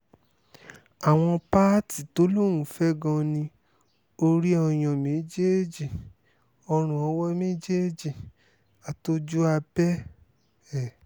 àwọn páàtì tó lóun fẹ́ gan-an ni orí ọyàn méjèèjì ọrùn owó méjèèjì àti ojú abẹ́ ẹ̀